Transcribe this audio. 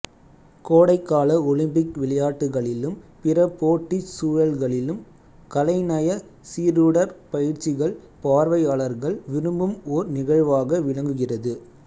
கோடைக்கால ஒலிம்பிக் விளையாட்டுக்களிலும் பிற போட்டிச் சூழல்களிலும் கலைநய சீருடற் பயிற்சிகள் பார்வையாளர்கள் விரும்பும் ஓர் நிகழ்வாக விளங்குகிறது